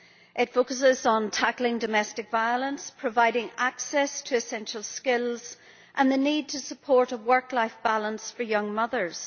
It focuses on tackling domestic violence, providing access to essential skills and the need to support a work life balance for young mothers.